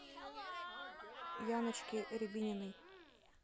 яночке рябининой